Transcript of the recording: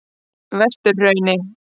Vesturhrauni